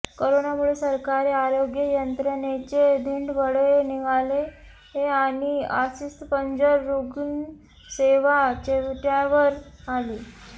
करोनामुळे सरकारी आरोग्य यंत्रणेचे धिंडवडे निघाले आणि अस्थिपंजर रुग्णसेवा चव्हाट्यावर आली